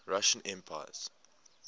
russian emperors